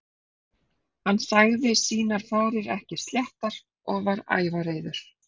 Hann sagði sínar farir ekki sléttar og var ævareiður.